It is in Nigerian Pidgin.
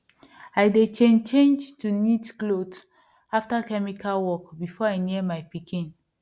i dey change change to neat cloth after chemical work before i near my pikin